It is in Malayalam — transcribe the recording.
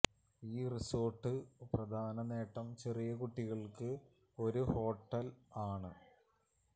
ഈ റിസോർട്ട് പ്രധാന നേട്ടം ചെറിയ കുട്ടികൾക്ക് ഒരു ഹോട്ടൽ ആണ്